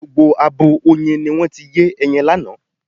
Gbogbo abo oyin ni wọ́n ti yé ẹyin lánàá.